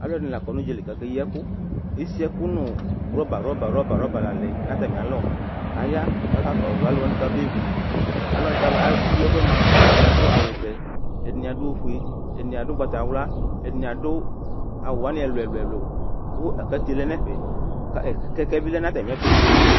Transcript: Alʋ ɛdɩnɩ la akɔ nʋ ʋdzǝli kʋ aka eyi ɛkʋ Esiɛkʋ nʋ wrɔba wrɔba wroba la yɔlɛ nʋ atami alɔ, kʋ aya kakɔsʋ alʋwa bʋakʋ ama bevʋ Alʋwa akeyi ɛkʋwanɩ mʋa, ɛdɩnɩ adʋ awʋvɛ, ɛdɩnɩ adʋ ofue, ɛdɩnɩ adʋ ugbatawla, ɛdɩnɩ adʋ awʋ wanɩ ɛlʋ ɛlʋ ɛlʋ Kʋ aklate lɛ nʋ ɛfɛ Kɛkɛ bɩ lɛ nʋ atami ɛtʋ